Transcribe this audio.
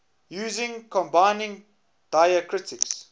using combining diacritics